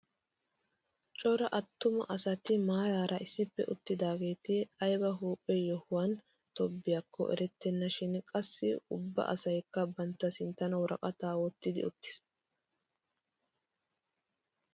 Cora attuma asati maarara issippe uttidaageti ayba huuphphe yohuwaani tobettiyaako erettena shin qassi ubba asayikka bantta sinttan woraqataa wottidi uttiis!